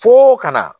Fo ka na